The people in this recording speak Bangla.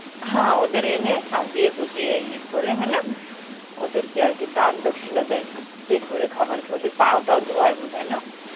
হ্যাঁ ওদের এনে সাজিয়ে গুজিয়ে ই করে হ্যাঁ না, ওদের কে আরকি দান দক্ষিনা দেয়, পেট ভরে খাওয়াই, ওদের পা টাও ধোয়ায় বধায় না